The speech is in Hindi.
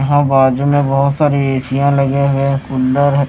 यहां बाजू में बहुत सारी एशियां लगे हुए हैं कुल्लर है।